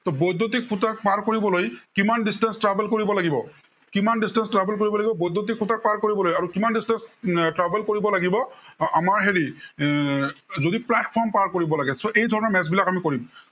বৈদ্য়ুতিক খুটাক পাৰ কৰিবলৈ কিমান distance travel কৰিব লাগিব। কিমান distance travel কৰিব লাগিব বৈদ্য়ুতিক খুটা পাৰ কৰিবলৈ আৰু কিমান distance travel কৰিব লাগিব আমাৰ হেৰি এৰ যদি platform পাৰ কৰিব লাগে। so এইধৰণৰ maths বিলাক আমি কৰিম।